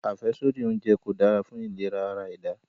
Afẹsodi ounjẹ ko da fun ilera ara-ẹda